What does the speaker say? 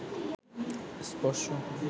স্পর্শ